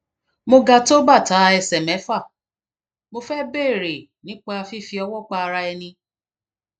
mo ga tó bàtà ẹsẹ mẹfà mo fẹ béèrè nípa fífi ọwọ pa ara ẹni